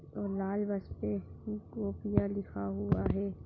और लाल बस पे गोपिया लिखा हुआ है।